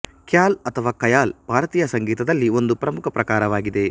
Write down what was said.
ಖ್ಯಾಲ್ ಅಥವಾ ಖಯಾಲ್ ಭಾರತೀಯ ಸಂಗೀತದಲ್ಲಿ ಒಂದು ಪ್ರಮುಖ ಪ್ರಕಾರವಾಗಿದೆ